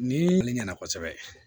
Ni ɲinɛ kosɛbɛ